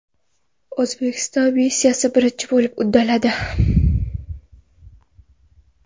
O‘zbekiston missiyani birinchi bo‘lib uddaladi.